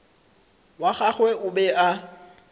wa gagwe o be a